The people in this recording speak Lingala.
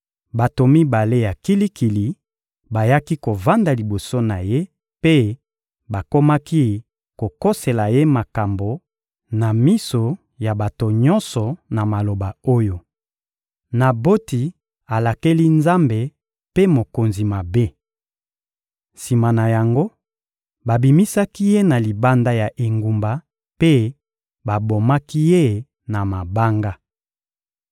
Bato mibale ya kilikili bayaki kovanda liboso na ye mpe bakomaki kokosela ye makambo na miso ya bato nyonso na maloba oyo: «Naboti alakeli Nzambe mpe mokonzi mabe!» Sima na yango, babimisaki ye na libanda ya engumba mpe babomaki ye na mabanga.